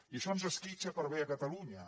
i això ens esquitxa per bé a catalunya